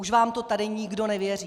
Už vám to tady nikdo nevěří.